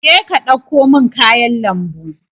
je ka ɗauko min kayan lambu.